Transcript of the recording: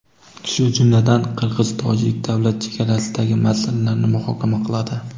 shu jumladan qirg‘iz-tojik davlat chegarasidagi masalalarni muhokama qiladi.